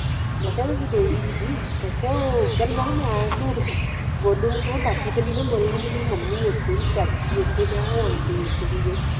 ਮੈ ਮੈ ਕਿਹਾ ਮੈ ਝੂਟ ਬੋਲੂੰਗੀ ਬਾਕੀ ਤਾ ਨੀ ਨਾ ਬੋਲਣ ਗਏ ਮ ਮੱਮੀ ਓਥੇ ਹੀ ਚਾਚੀ ਉਥੇ ਮੈ ਓ aunty ਓਥੇ ਸੀ